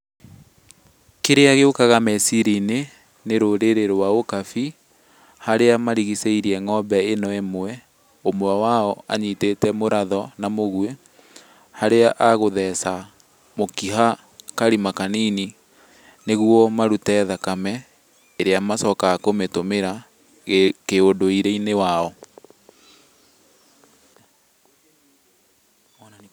Kĩrĩa gĩũkaga meciria-inĩ nĩ rũrĩrĩ rwa ũkabi. Harĩa marigicĩirie ng'ombe ĩno ĩmwe, ũmwe wao anyitĩte mũratho na mũguĩ harĩa agũtheca mũkiha karima kanini nĩguo marute thakame ĩrĩa macokaga kũmĩtũmĩra kĩũndũire-inĩ wao.